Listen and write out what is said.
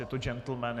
Je to džentlmen.